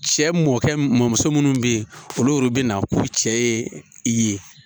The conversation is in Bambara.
Cɛ mɔkɛ mɔmuso minnu bɛ ye olu yor'u bɛ na k'u cɛ ye i ye.